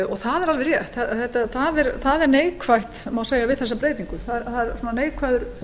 og það er alveg rétt það er neikvætt við þessa breytingu það er